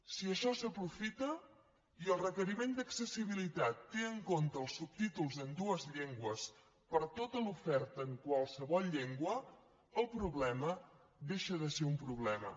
si això s’aprofita i el requeriment d’accessibilitat té en compte els subtítols en dues llengües per a tota l’oferta en qualsevol llengua el problema deixa de ser un problema